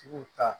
Tigiw ta